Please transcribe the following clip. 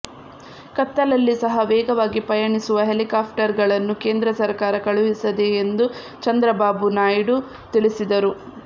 ಕತ್ತಲಲ್ಲಿ ಸಹ ವೇಗವಾಗಿ ಪಯಣಿಸುವ ಹೆಲಿಕಾಪ್ಟರ್ ಗಳನ್ನು ಕೇಂದ್ರ ಸರಕಾರ ಕಳುಹಿಸಿದೆ ಎಂದು ಚಂದ್ರಬಾಬು ನಾಯ್ಡು ತಿಳಿಸಿದರು